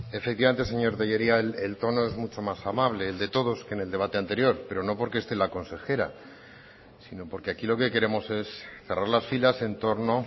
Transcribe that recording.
efectivamente señor telleria el tono es mucho más amable el de todos que en el debate anterior pero no porque esté la consejera sino porque aquí lo que queremos es cerrar las filas en torno